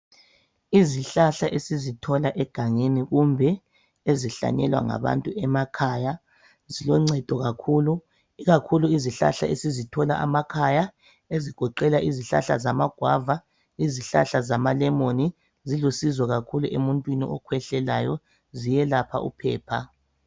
Izihlahla esizithola egangeni kumbe ezihlanyelwa ngabantu emakhaya ziloncedo kakhulu, ikakhulu izihlahla esizithola amakhaya ezigoqela izihlahla zamagwava lezihlahla zamalemoni zilusizo kakhulu emuntwini okhwehlelayo ziyelapha uphepha.